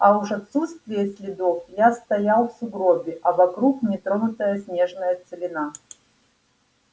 а уж отсутствие следов я стоял в сугробе а вокруг нетронутая снежная целина